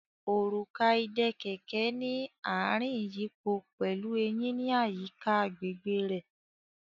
Òrùka ìdè kẹ̀kẹ́ ní ìrìn iyipo pẹlú Eyin ní àyíká agbègbè rẹ.